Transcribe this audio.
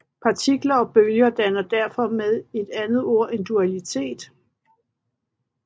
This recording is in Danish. Partikler og bølger danner derfor med et andet ord en dualitet